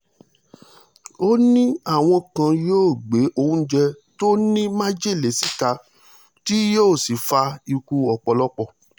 ó ní àwọn kan yóò gbé oúnjẹ tó ní májèlé síta tí yóò sì fa ikú ọ̀pọ̀lọpọ̀